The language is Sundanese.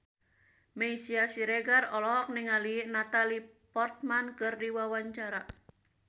Meisya Siregar olohok ningali Natalie Portman keur diwawancara